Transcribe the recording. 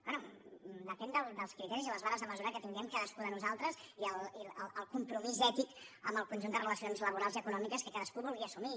bé depèn dels criteris i les vares de mesurar que tinguem cadascú de nosaltres i el compromís ètic amb el conjunt de relacions laborals i econòmiques que cadascú vulgui assumir